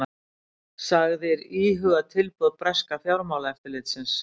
Sagðir íhuga tilboð breska fjármálaeftirlitsins